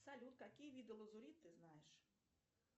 салют какие виды лазурит ты знаешь